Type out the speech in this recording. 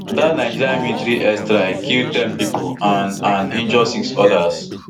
dat nigerian military airstrike kill ten pipo and and injure six odas